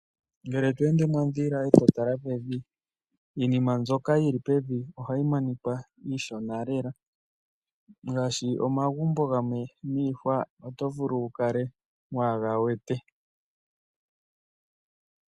Ngele to ende mondhila e to tala pevi iinima mbyoka yi li pevi ohayi monika iishona lela ngaashi omagumbo gamwe niihwa oto vulu wu kale waa ga wete.